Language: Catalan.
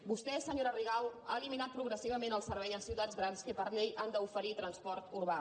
vostè senyora rigau ha eliminat progressivament el servei en ciutats grans que per llei han d’oferir transport urbà